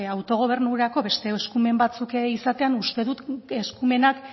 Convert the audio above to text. autogobernurako beste eskumen batzuk izatean uste dut eskumenak